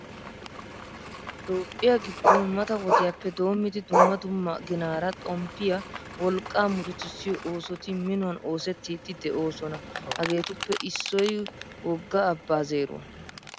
Toophphiya giddon mata wodiyappe doommidi dumma dumma ginaara xomppiya wolqqaa murutissiyo oosoti minuwan oosettiiddi de'oosona. Hageetuppe issoy wogga abbaa zeeruwa.